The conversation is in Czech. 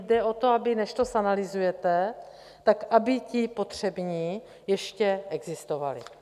Jde o to, že než to zanalyzujete, tak aby ti potřební ještě existovali.